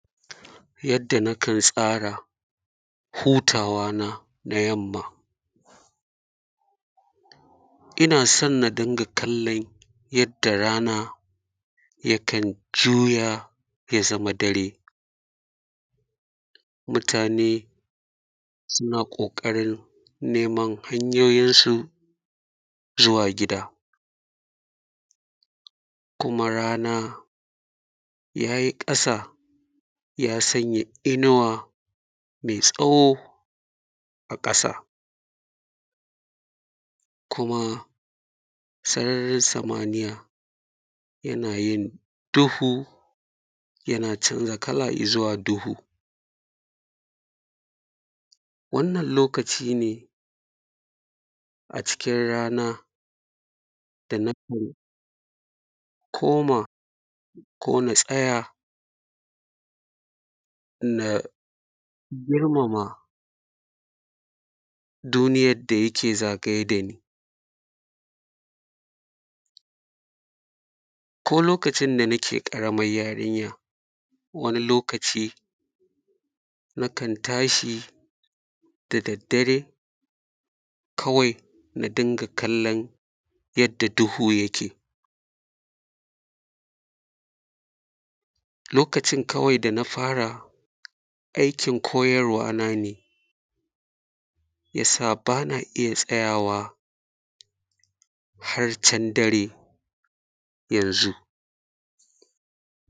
yanda nakan tsara hutawana na yamma ina son na dunga kallon yanda rana yakan juya ya zama dare mutane suna kokarin neman hanyoyin su zuwa gida kuma rana yayi kasa ya sanya inuwa mai tsaho a kasa kuma sararin samaniya yana yin duhu yana canza kala izuwa duhu wannan lokaci ne a cikin rana da nakan koma ko na tsaya na girmama duniyar da yake zagaye dani ko lokacin da nake karaman yarinya wani lokaci na kan tashi da daddare kawai na dunga kallon yanda duhu yake lokacin kawai da nafara aikin koyarwa nane yasa bana iya tsayawa har can dare yanzu